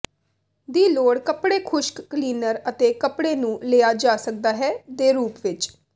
ਦੀ ਲੋੜ ਕੱਪੜੇ ਖੁਸ਼ਕ ਕਲੀਨਰ ਅਤੇ ਕੱਪੜੇ ਨੂੰ ਲਿਆ ਜਾ ਸਕਦਾ ਹੈ ਦੇ ਰੂਪ ਵਿੱਚ